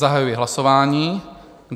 Zahajuji hlasování.